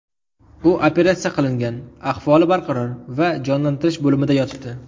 U operatsiya qilingan, ahvoli barqaror va jonlantirish bo‘limida yotibdi.